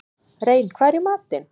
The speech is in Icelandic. Rein, hvað er í matinn?